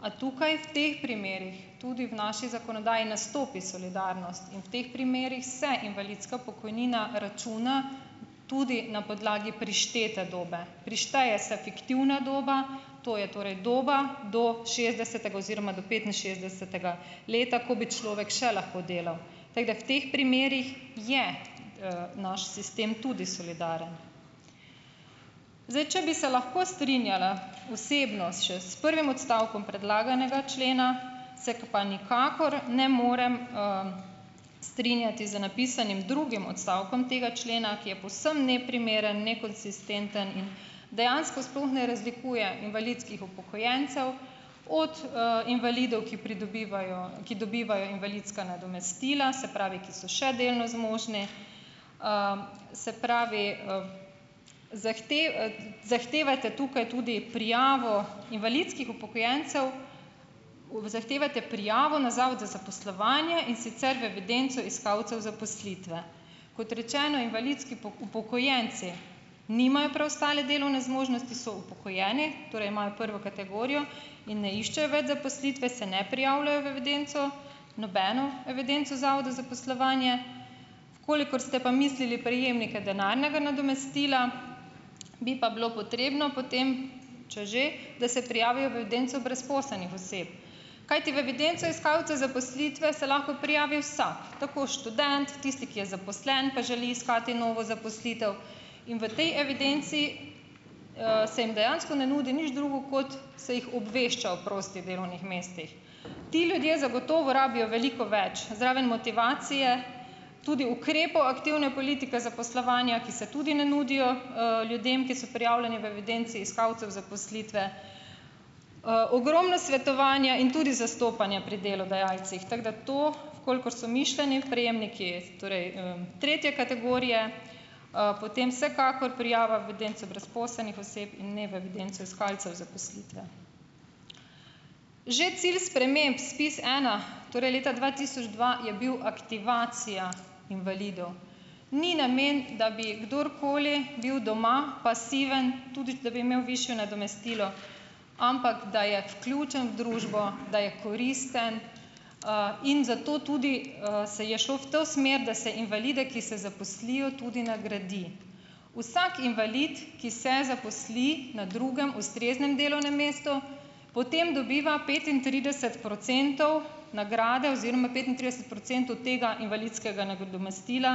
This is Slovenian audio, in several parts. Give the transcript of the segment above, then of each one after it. A tukaj, v teh primerih tudi v naši zakonodaji nastopi solidarnost in v teh primerih se invalidska pokojnina računa tudi na podlagi prištete dobe. Prišteje se fiktivna doba, to je torej doba do šestdesetega oziroma petinšestdesetega leta, ko bi človek še lahko delal. Tako da v teh primerih je naš sistem tudi solidaren. Zdaj, če bi se lahko strinjala osebno še s prvim odstavkom predlaganega člena, se pa nikakor ne morem strinjati z napisanim drugim odstavkom tega člena, ki je povsem neprimeren, nekonsistenten in dejansko sploh ne razlikuje invalidskih upokojencev od invalidov, ki pridobivajo, ki dobivajo invalidska nadomestila, se pravi, ki so še delno zmožni, se pravi zahtevate tukaj tudi prijavo invalidskih upokojencev, zahtevate prijavo na Zavod za zaposlovanje, in sicer v evidenco iskalcev zaposlitve. Kot rečeno, invalidski upokojenci nimajo preostale delovne zmožnosti, so upokojeni, torej imajo prvo kategorijo in ne iščejo več zaposlitve, se ne prijavljajo v evidenco, nobeno evidenco Zavoda za zaposlovanje. V kolikor ste pa mislili prejemnike denarnega nadomestila, bi pa bilo potrebno potem, če že, da se prijavijo v evidenco brezposelnih oseb. Kajti v evidenco iskalcev zaposlitve se lahko prijavi vsak. Tako študent, tisti, ki je zaposlen, pa želi iskati novo zaposlitev. In v tej evidenci se jim dejansko ne nudi nič drugo kot se jih obvešča o prostih delovnih mestih. Ti ljudje zagotovo rabijo veliko več. Zraven motivacije tudi ukrepov aktivne politike zaposlovanja, ki se tudi ne nudijo ljudem, ki so prijavljeni v evidenci iskalcev zaposlitve. ogromno svetovanja in tudi zastopanja pri delodajalcih. Tako da to, kolikor so mišljeni prejemniki, torej tretje kategorije, potem vsekakor prijava v evidenco brezposelnih oseb, ne v evidenco iskalcev zaposlitve. Že cilj sprememb SPIZ ena, torej leta dva tisoč dva, je bil aktivacija invalidov. Ni namen, da bi kdorkoli bil doma pasiven, tudi da bi imel višje nadomestilo, ampak da je vključen v družbo, da je koristen in zato tudi se je šlo v to smer, da se invalide, ki se zaposlijo, tudi nagradi. Vsak invalid, ki se zaposli na drugem, ustreznem delovnem mestu, potem dobiva petintrideset procentov nagrade oziroma petintrideset procentov tega invalidskega nadomestila,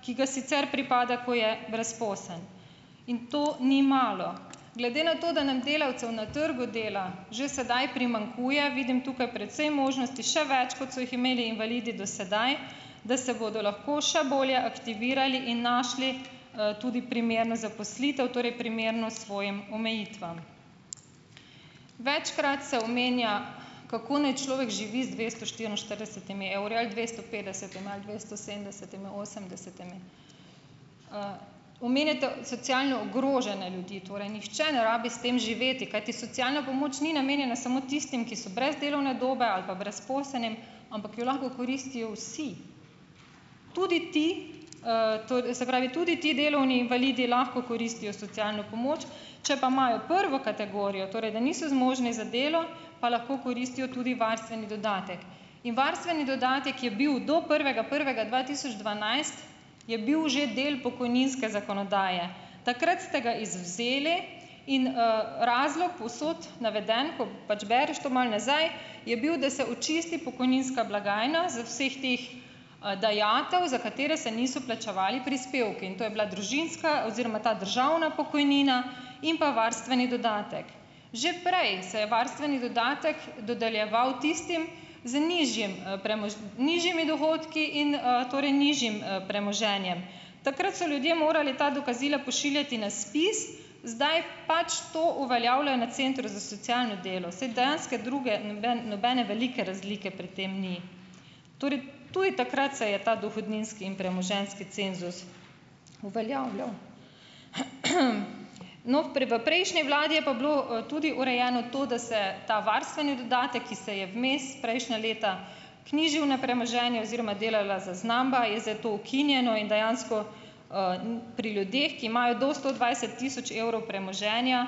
ki ga sicer pripada, ko je brezposeln. In to ni malo. Glede na to, da nam delavcev na trgu dela že sedaj primanjkuje, vidim tukaj precej možnosti, še več, kot so jih imeli invalidi do sedaj, da se bodo lahko še bolje aktivirali in našli tudi primerno zaposlitev, torej primerno svojim omejitvam. Večkrat se omenja, kako naj človek živi z dvesto štiriinštiridesetimi evri ali dvesto petdesetimi ali dvesto sedemdesetimi ali osemdesetimi. omenjate socialne ogrožene ljudi, torej nihče ne rabi s tem živeti, kajti socialna pomoč ni namenjena samo tistim, ki so brez delovne dobe ali pa brezposelni, ampak jo lahko koristijo vsi. Tudi ti se pravi tudi ti delovni invalidi lahko koristijo socialno pomoč, če pa imajo prvo kategorijo, torej da niso zmožni za delo, pa lahko koristijo tudi varstveni dodatek. In varstveni dodatek je bil do prvega prvega dva tisoč dvanajst je bil že del pokojninske zakonodaje. Takrat ste ga izvzeli in razlog povsod naveden, ko pač bereš to malo nazaj, je bil, da se očisti pokojninska blagajna z vseh teh dajatev, za katere se niso plačevali prispevki. In to je bila družinska oziroma ta državna pokojnina in pa varstveni dodatek. Že prej se je varstveni dodatek dodeljeval tistim z nižjim nižjimi dohodki in torej nižjim premoženjem. Takrat so ljudje morali ta dokazila pošiljati na ZPIZ, zdaj pač to uveljavljajo na Centru za socialno delo. Saj dejanske druge nobene velike razlike pri tem ni. Torej tudi takrat se je ta dohodninski in premoženjski cenzus uveljavljal. No, v prejšnji vladi je pa bilo tudi urejeno to, da se ta varstveni dodatek, ki se je vmes prejšnja leta vknjižil na premoženje oziroma delala naznamba, je zdaj to ukinjeno in dejansko pri ljudeh, ki imajo do sto dvajset tisoč evrov premoženja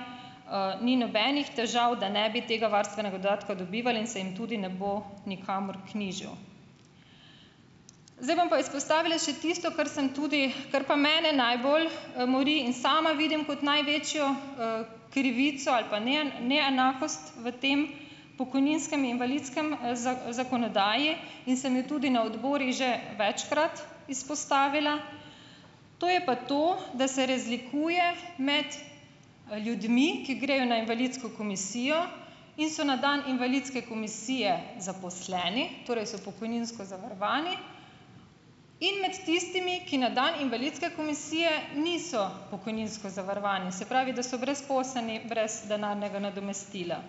ni nobenih težav, da ne bi tega varstvenega dodatka dobivali, in se jim tudi ne bo nikamor knjižil. Zdaj bom pa izpostavila še tisto, kar sem tudi, kar pa mene najbolj mori in sama vidim kot največjo krivico ali pa neenakost v tem pokojninskem in invalidskem zakonodaji in sem jo tudi na odborih že večkrat izpostavila. To je pa to, da se razlikuje med ljudmi, ki grejo na invalidsko komisijo in so na dan invalidske komisije zaposleni, torej so pokojninsko zavarovani, in med tistimi, ki na dan invalidske komisije niso pokojninsko zavarovani, se pravi, da so brezposelni in brez denarnega nadomestila.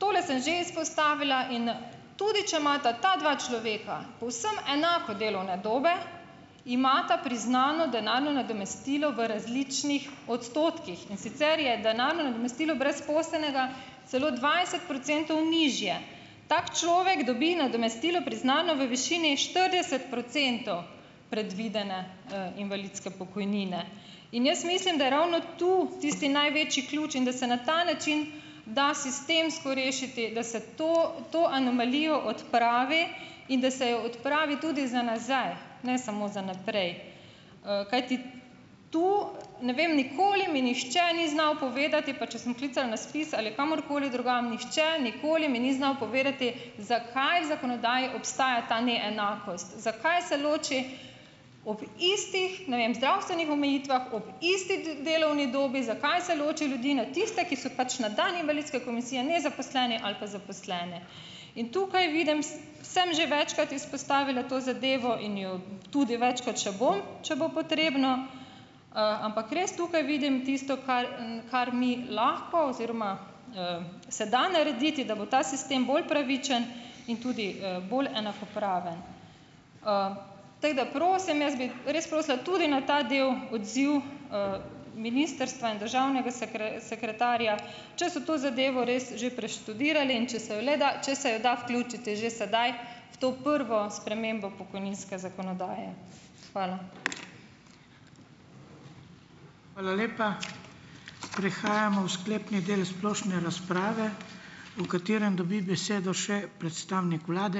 Tole sem že izpostavila, in tudi, če imata ta dva človeka povsem enako delovne dobe, imata priznano denarno nadomestilo v različnih odstotkih. In sicer je denarno nadomestilo brezposelnega celo dvajset procentov nižje. Tak človek dobi nadomestilo priznano v višini štirideset procentov predvidene invalidske pokojnine. In jaz mislim, da je ravno tu tisti največji ključ in da se na ta način da sistemsko rešiti, da se to, to anomalijo odpravi in da se jo odpravi tudi za nazaj, ne samo za naprej. kajti tu, ne vem, nikoli mi nihče ni znal povedati, pa če sem klicala na ZPIZ ali kamorkoli drugam, nihče nikoli mi ni znal povedati, zakaj zakonodaji obstaja ta neenakost. Zakaj se loči ob istih, ne vem, zdravstvenih omejitvah, ob isti delovni dobi, zakaj se loči ljudi na tiste, ki so pač na dan invalidske komisije nezaposleni, ali pa zaposlene. In tukaj vidim, sem že večkrat izpostavila to zadevo in jo tudi večkrat še bom, če bo potrebno, ampak res tukaj vidim tisto, kar kar mi lahko oziroma se da narediti, da bo ta sistem bolj pravičen in tudi bolj enakopraven. tako da, prosim, jaz bi res prosila tudi na ta del odziv ministrstva in državnega sekretarja, če so to zadevo res že preštudirali in če se jo, le da, če se jo da vključiti že sedaj v to prvo spremembo pokojninske zakonodaje. Hvala. Hvala lepa. Prihajamo v sklepni del splošne razprave, v katerem dobi besedo še predstavnik vlade.